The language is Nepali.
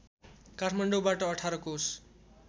काठमाडौबाट १८ कोश